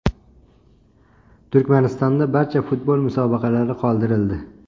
Turkmanistonda barcha futbol musobaqalari qoldirildi.